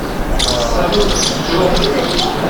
салют джош